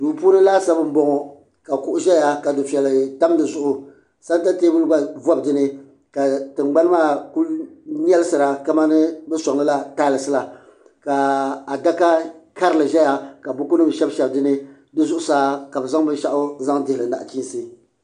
duu puuni laasabu n bɔŋɔ ka kuɣu ʒɛya ka dufɛli tam dizuɣu sɛnta teebulu gba vobi dinni ka tingbani maa ku nyɛlisira kamani bi sɔŋlila taals la ka adaka karili ʒɛya ka buku nim shɛbi shɛbi dinni di zuɣusaa ka bi zaŋ binshaɣu zaŋ dihili nachiinsi